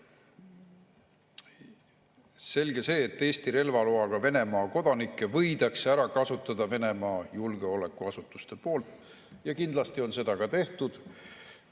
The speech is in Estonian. Selge see, et Eesti relvaloaga Venemaa kodanikke võidakse ära kasutada Venemaa julgeolekuasutuste poolt, ja kindlasti on seda ka tehtud.